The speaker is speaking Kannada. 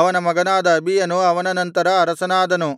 ಅವನ ಮಗನಾದ ಅಬೀಯನು ಅವನ ನಂತರ ಅರಸನಾದನು